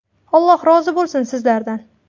Alloh rozi bo‘lsin sizlardan.